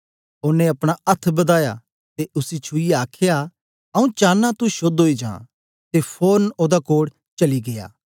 ओनें अपना अथ्थ बदाया ते उसी छुईयै आखया आऊँ चानां तू शोद्ध ओई जां ते फोरन ओदा कोढ़ चली गीया